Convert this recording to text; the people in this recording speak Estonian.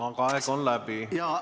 Aga aeg on läbi.